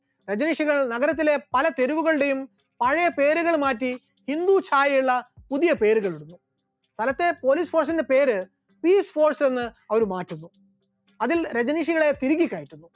രജനീഷുകൾ നഗരത്തിലെ പല തെരുവുകളുടെയും പഴയ പേരുകൾ മാറ്റി ഹിന്ദു ഛായയുള്ള പുതിയ പേരുകൾ നിർമ്മിച്ചു, സ്ഥലത്തെ police station ന്റെ പേര് peace force എന്ന് അവർ മാറ്റുന്നു, അതിൽ രജനീഷുകളെ തിരുകി കയറ്റുന്നു.